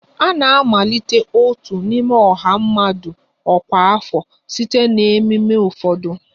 A na-amalite otu n'ime ọha mmadụ ọkwa afọ site na ememe ụfọdụ